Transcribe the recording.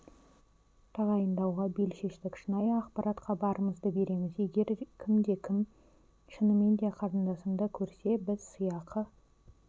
тағайындауға бел шештік шынайы ақпаратқа барымызды береміз егер кімде-кім шынымен де қарындасымды көрсе біз сыйақы